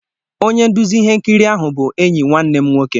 Onye nduzi ihe nkiri ahụ bụ enyi nwanne m nwoke.